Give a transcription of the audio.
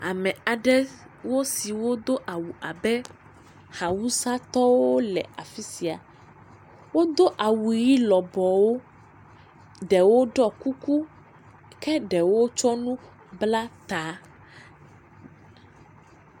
Ame aɖe siwo do awu abe awusatɔwo le afi sia, wodo awu ʋɛ̃ lɔbɔwo, ɖewo ɖɔ kuku ke ɖewo tsɔ nu bla ta.